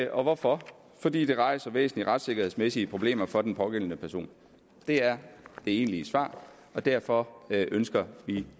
og hvorfor fordi det rejser væsentlige retssikkerhedsmæssige problemer for den pågældende person det er det egentlige svar og derfor ønsker